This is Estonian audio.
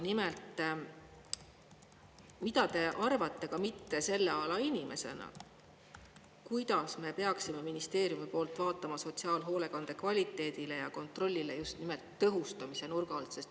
Nimelt, mida te arvate ka mitte selle ala inimesena, kuidas me peaksime ministeeriumi poolt vaatama sotsiaalhoolekande kvaliteedile ja kontrollile just nimelt tõhustamise nurga alt?